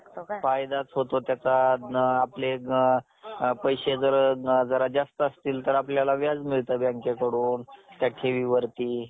पाण्याखाली वाढत चाललेल्या जाळीचे, जंजाळ झालेले असत. त्यात पाय रुतत गेलेले असतात. सुटण्यासाठी केलेली धडपड व्यर्थ असते. नुसतीच दमछाक असते.